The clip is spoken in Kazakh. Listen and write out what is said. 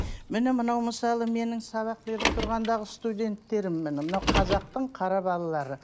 міне мынау мысалы менің сабақ беріп тұрғандағы студенттерім міне мынау қазақтың қара балалары